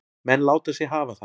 Menn láta sig hafa það.